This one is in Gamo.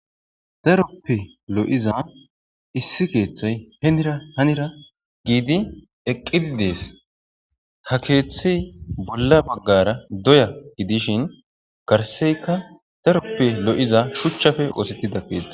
Daroppe lo'iza issi kethayi hinira hanara eqidi de'ees ha ketha bolla bagara doya dishin garsenka daroppe lo,iza shuchappe osetida kethayi betees